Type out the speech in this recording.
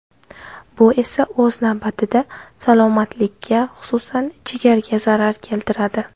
Bu esa o‘z navbatida salomatlikka, xususan, jigarga zarar keltiradi.